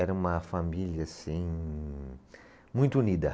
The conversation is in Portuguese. Era uma família, assim, muito unida.